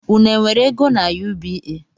Unu e nwere ego n’UBA?